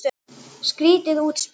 Skrýtið útspil.